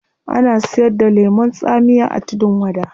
Ana siyar da lemun tsamiya a tudun wada